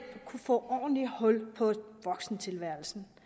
kunne få ordentligt hul på voksentilværelsen